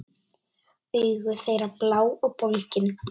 Augu þeirra blá og bólgin.